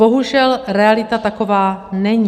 Bohužel realita taková není.